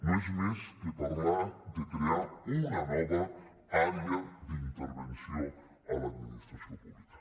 no és més que parlar de crear una nova àrea d’intervenció a l’administració pública